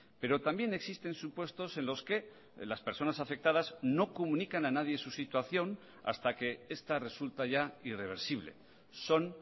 pero también existen supuestos en los que las personas afectadas no comunican a nadie su situación hasta que esta resulta ya irreversible son